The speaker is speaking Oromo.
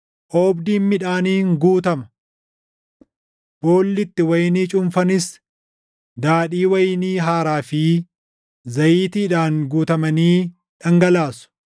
Oobdiin midhaaniin guutama; boolli itti wayinii cuunfanis daadhii wayinii haaraa fi // zayitiidhaan guutamanii dhangalaasu.